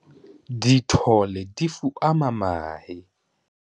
Dithole di fuama mahe.